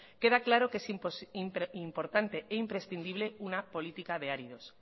queda claro que es importante e imprescindible una política de áridos